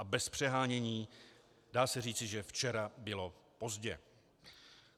A bez přehánění se dá říci, že včera bylo pozdě.